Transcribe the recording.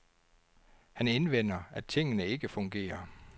Han indvender, at tingene ikke fungerer.